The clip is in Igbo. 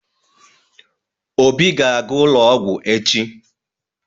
Obi ga-aga ụlọ ọgwụ echi.